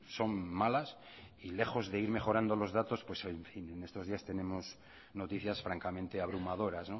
son malas y lejos de ir mejorando los datos en estos días tenemos noticias francamente abrumadoras